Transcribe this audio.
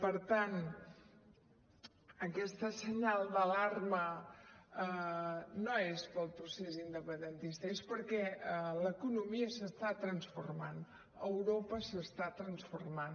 per tant aquest senyal d’alarma no és pel procés independentista és perquè l’economia s’està transformant europa s’està transformant